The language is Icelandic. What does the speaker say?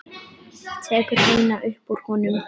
Tekur eina upp úr honum.